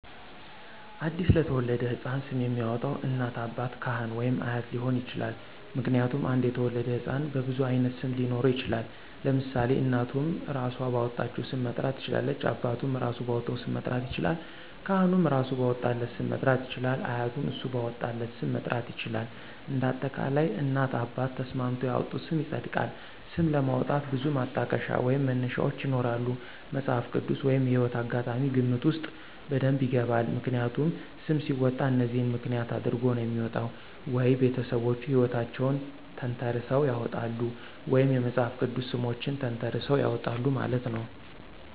አዲስ ለተወለደው ሕፃን ስም የሚያወጣው እናት፣ አባት፣ ካህን ወይም አያት ሊሆን ይችላል። ምክንያቱም አንድ የተወለደ ህፃን በብዙ አይነት ስም ሊኖረው ይችላል ለምሳሌ እናቱም እራሶ ባወጣቸው ሰም መጥራት ትችላለች አባቱም እራሱ ባወጣው ስም መጥራት ይችላለል ካህኑም እራሱ ባወጣለት ስም መጥራት ይችላል አያቱም እሱ ባወጣለት ስ??? ም መጥራት ይችላል እንደ አጠቃላይ እናት አባት ተስማምተው ያወጡት ስም ይፀድቃል። ስም ለማውጣት ብዙ ማጠቀሻ ወይም መነሻዎች ይኖራሉ መፅሃፍ ቅድስ ወይም የህይወት አጋጣሚ ግምት ውስጥ በደብ ይገባል። ምክንያቱም ሰም ሲወጣ እነዚህን ምክንያት አድረጎ ነው የሚወጣው ወይ ቤተሰቦቹ ሕይወታቸውን ተንተረሰው ያውጣሉ ወይም የመፅሐፍ ቅድስ ሰሞችን ተንተራሰው ያወጣሉ ማለት ነው።